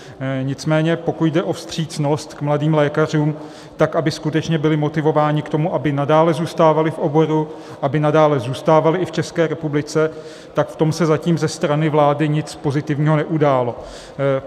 Nicméně pokud jde o vstřícnost k mladým lékařům, tak aby skutečně byli motivováni k tomu, aby nadále zůstávali v oboru, aby nadále zůstávali i v České republice, tak v tom se zatím ze strany vlády nic pozitivního neudálo.